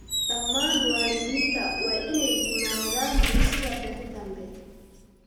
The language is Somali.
Dhammaan waalidiinta waa ineey yimaadaan dugsigaa berii danbe.